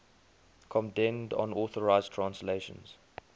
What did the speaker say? condemned unauthorized translations